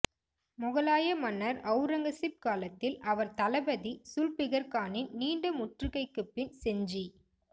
மொகலாய மன்னர் ஒளரங்கசீப் காலத்தில் அவர் தளபதி சுல்பிகர்கானின் நீண்ட முற்றுகைக்குப்பின் செஞ்சி